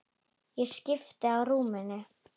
Ég skipti á rúminu.